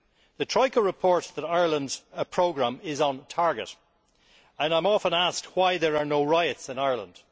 The Troika reports that Ireland's programme is on target, and I am often asked why there are no riots in Ireland.